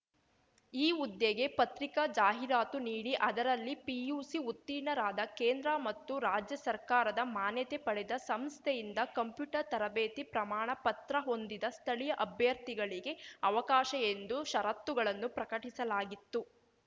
ಈ ಹುದ್ದೆಗೆ ಪತ್ರಿಕಾ ಜಾಹಿರಾತು ನೀಡಿ ಅದರಲ್ಲಿ ಪಿಯುಸಿ ಉತ್ತೀರ್ಣರಾದ ಕೇಂದ್ರ ಮತ್ತು ರಾಜ್ಯ ಸರ್ಕಾರದ ಮಾನ್ಯತೆ ಪಡೆದ ಸಂಸ್ಥೆಯಿಂದ ಕಂಪ್ಯೂಟರ್‌ ತರಬೇತಿ ಪ್ರಮಾಣ ಪತ್ರ ಹೊಂದಿದ ಸ್ಥಳೀಯ ಅಭ್ಯರ್ಥಿಗಳಿಗೆ ಅವಕಾಶ ಎಂದು ಷರತ್ತುಗಳನ್ನು ಪ್ರಕಟಿಸಲಾಗಿತ್ತು